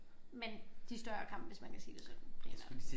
Men de større kampe hvis man kan sige det sådan primært